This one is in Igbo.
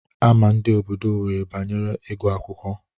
Ama ndị obodo Owerri banyere ịgụ akwụkwọ.